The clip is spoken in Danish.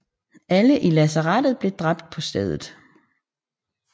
Alle i lazarettet blev dræbt på stedet